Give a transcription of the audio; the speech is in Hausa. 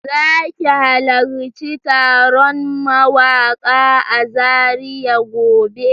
Za ki halarci taron mawaƙa a Zaria gobe?